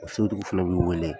A so dugu fila b'u wele.